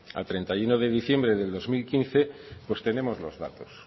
a treinta y uno de diciembre de dos mil quince pues tenemos los datos